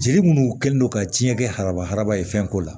Jeli munnu kɛlen don ka ciɲɛ kɛ haraba haraba ye fɛn ko la